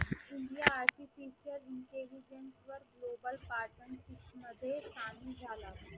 मध्ये नाही झाला.